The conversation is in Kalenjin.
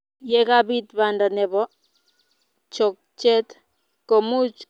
Ye kabiit banda nebo chokchet komuch keboishe ndeget eng sait kitikin